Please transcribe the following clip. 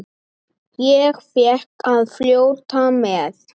Ég fékk að fljóta með.